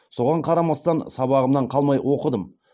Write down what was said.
соған қарамастан сабағымнан қалмай оқыдым